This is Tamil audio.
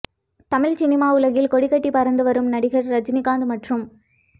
தமிழ் சினிமா உலகில் கொடிகட்டி பறந்து வரும் நடிகர் ரஜினிகாந்த் மற்றும்